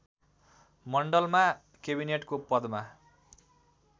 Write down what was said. मण्डलमा केबिनेटको पदमा